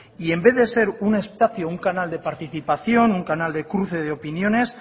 y en vez de ser un espacio un canal de participación un canal de cruce de opiniones